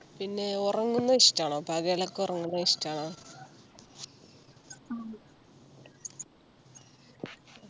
പിന്നെ ഉറങ്ങുന്നത് ഇഷ്ടാണോ പകലൊക്കെ ഉറങ്ങുന്നത് ഇഷ്ടാണോ